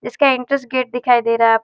इसका entrance gate दिखाई दे रहा आप--